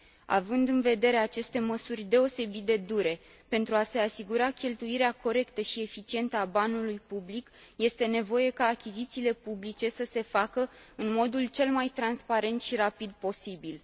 Având în vedere aceste măsuri deosebit de dure, pentru a se asigura cheltuirea corectă și eficientă a banului public este nevoie ca achizițiile publice să se facă în modul cel mai transparent și rapid posibil.